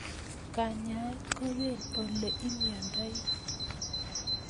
Kanyaet ko pee ole imiondoi